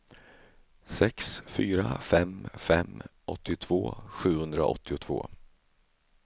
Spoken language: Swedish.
sex fyra fem fem åttiotvå sjuhundraåttiotvå